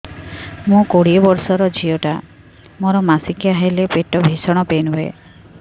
ମୁ କୋଡ଼ିଏ ବର୍ଷର ଝିଅ ଟା ମୋର ମାସିକିଆ ହେଲେ ପେଟ ଭୀଷଣ ପେନ ହୁଏ